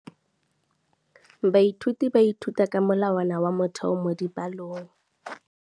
Baithuti ba ithuta ka molawana wa motheo mo dipalong.